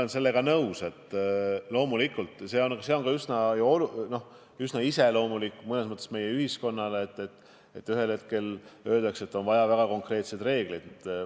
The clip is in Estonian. Ma olen nõus, et loomulikult, see on ühiskonnale üsna iseloomulik, et ühel hetkel öeldakse, et on vaja väga konkreetseid reegleid.